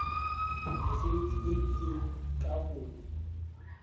mesebetsi e itseng ka ho